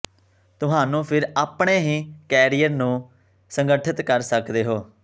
ਤੁਹਾਨੂੰ ਫਿਰ ਆਪਣੇ ਹੀ ਕੈਰੀਅਰ ਨੂੰ ਸੰਗਠਿਤ ਕਰ ਸਕਦੇ ਹੋ